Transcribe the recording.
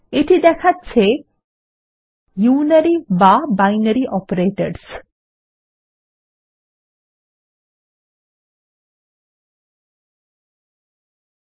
এটি দেখাচ্ছে ইউনারি বা বাইনারি অপারেটরসহ